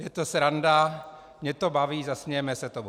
Je to sranda, mě to baví, zasmějeme se tomu.